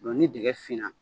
ni dɛgɛfinna